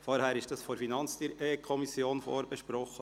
Vorher wurde es von der FiKo vorberaten.